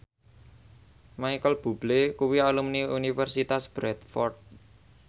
Micheal Bubble kuwi alumni Universitas Bradford